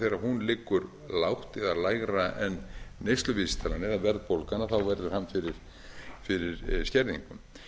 þegar hún liggur lágt eða lægra en neysluvísitalan eða verðbólgan verður hann fyrir skerðingu